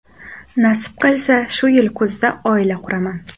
Nasib qilsa, shu yil kuzda oila quraman.